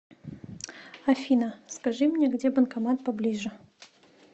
афина скажи мне где банкомат поближе